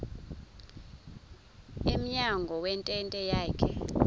emnyango wentente yakhe